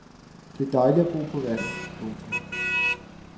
Det er dejligt at bo på vandet. punktum